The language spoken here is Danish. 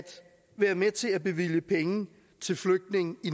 være med til at bevilge penge til flygtninge i